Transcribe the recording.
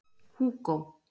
Húgó